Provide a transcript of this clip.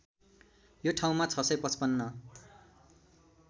यो ठाउँमा ६५५